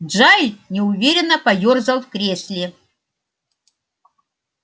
джаэль неуверенно поёрзал в кресле